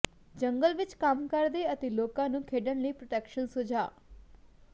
ਜੰਗਲ ਵਿਚ ਕੰਮ ਕਰਦੇ ਅਤੇ ਲੋਕਾਂ ਨੂੰ ਖੇਡਣ ਲਈ ਪ੍ਰੋਟੈਕਸ਼ਨ ਸੁਝਾਅ